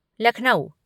Lucknow